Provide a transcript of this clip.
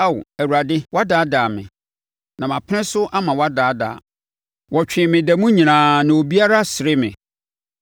Ao, Awurade, woadaadaa me; na mapene so ama woadaadaa. Wɔtwee me da mu nyinaa; na obiara sere me.